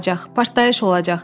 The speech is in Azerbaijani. Partlayış olacaq.